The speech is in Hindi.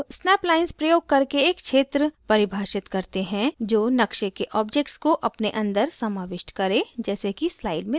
अब snap lines प्रयोग करके एक क्षेत्र परिभाषित करते हैं जो नक़्शे के objects को अपने अंदर समाविष्ट करे जैसे की slide में दिखाया गया है